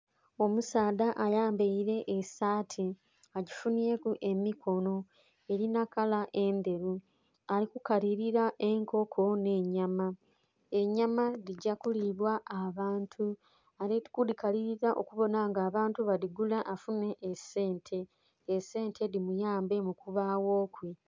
Omusaadha ayambaire esaati agifunhyeku emikono erina kala endheru alikukalira enkoko n'enyama, enyama dhigyakulibwa abantu, alikudhikalira okubona nga abantu badhigula afunhe esente, esente dhimuyambe mukubaghokwe.